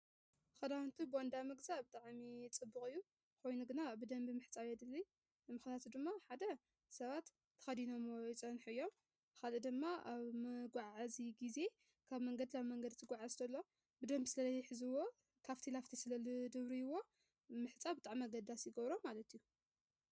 ኽዳውንቲ ቦንዳ ምግዛእ ብጣዕሚ ጽቡቕ እዩ። ኾይኑ ግና ብደምቢ ምሕፃብ የድልይ ምኽንያቱ ድማ ሓደ ሰባት ተኸዲኖ ዝፀንሑ እዮም፣ ካልእ ድማ ኣብ መጓዓዚ ጊዜ ካብ መንገድ ላብ መንገድ እንቲጉዓዝ ከሎ ብደምብ ስለ ዘይሕዝዎ ካብቲ ላብቲ ስለልድብርይዎ ምሕፃብ ብጣዕሚ ኣገዳሲ ይገብሮ ማለት እዩ።